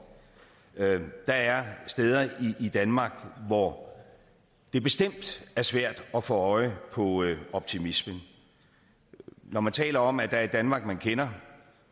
der er steder i danmark hvor det bestemt er svært at få øje på optimismen når man taler om at der er et danmark man kender